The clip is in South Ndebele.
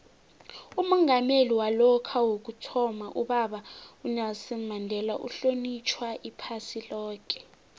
umongameli walokha ubaba unelson mandela uhlonitjhwa iphasi loke